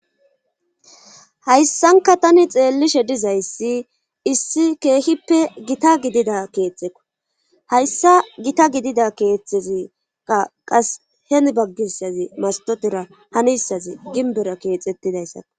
hayssanka tani xeellishe dizayssi issi keehippe gita gidida keeththeko hayssa gita gidida keeththezia qas henbaggissazi mastotira hanissazi ginbera keexettidayssako